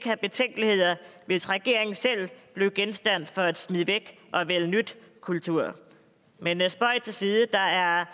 have betænkeligheder hvis regeringen selv blev genstand for en smid væk og vælg nyt kultur men spøg til side der er